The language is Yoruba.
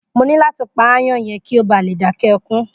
Mo ní láti pa aáyán yẹn kí ó bá lè dáké ẹkún.